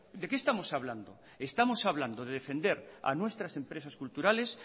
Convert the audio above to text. de qué estamos hablando estamos hablando de defender a nuestras empresas culturales